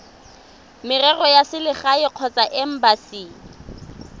merero ya selegae kgotsa embasi